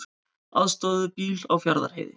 Aðstoðuðu bíl á Fjarðarheiði